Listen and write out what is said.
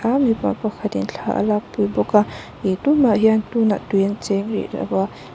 a mipa pakhat in thla a lak pui bawk a ih tumah ah hian tun ah tui an cheng rih lo a.